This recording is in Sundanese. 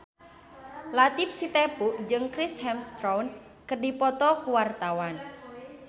Latief Sitepu jeung Chris Hemsworth keur dipoto ku wartawan